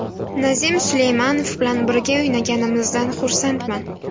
Nazim Suleymanov bilan birga o‘ynaganimizdan xursandman.